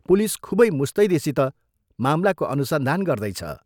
Police खूबै मुस्तैदीसित मामलाको अनुसन्धान गर्दैछ।